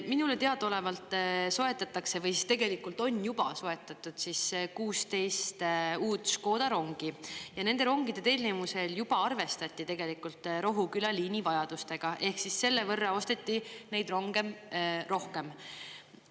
Minule teadaolevalt soetatakse või siis tegelikult on juba soetatud 16 uut Škoda rongi ja nende rongide tellimisel juba arvestati tegelikult Rohuküla liini vajadustega ehk selle võrra osteti neid ronge rohkem.